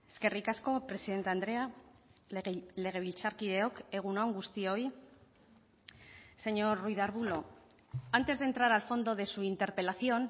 eskerrik asko presidente andrea legebiltzarkideok egun on guztioi señor ruiz de arbulo antes de entrar al fondo de su interpelación